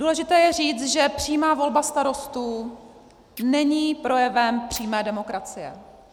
Důležité je říci, že přímá volba starostů není projevem přímé demokracie.